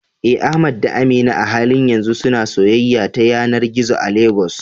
Eh, Ahmad da Amina a halin yanzu suna soyayya ta yanar gizo a Legas.